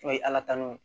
N'o ye ala tannw ye